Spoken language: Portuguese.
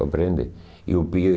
Compreende?